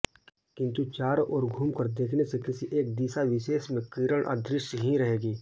किंतु चारों ओर घूमकर देखने से किसी एक दिशाविशेष में किरण अदृश्य ही रहेगी